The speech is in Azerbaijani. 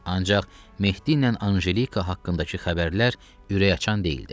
Ancaq Mehdiylə Anjelika haqqındakı xəbərlər ürəkaçan deyildi.